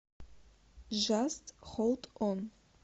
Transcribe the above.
джаст холд он